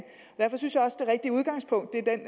derfor synes jeg også at det rigtige udgangspunkt er den